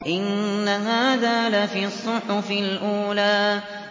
إِنَّ هَٰذَا لَفِي الصُّحُفِ الْأُولَىٰ